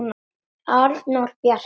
Arnór Bjarki.